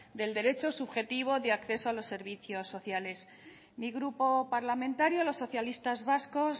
del derecho subjetivo de acceso a los servicios sociales mi grupo parlamentario los socialistas vascos